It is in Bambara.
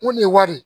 Ko nin ye wari ye